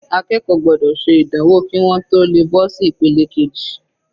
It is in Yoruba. Akẹ́kọ̀ọ́ gbọ́dọ̀ ṣe ìdánwò kí wọ́n tó le bọ́ sí ìpele keji.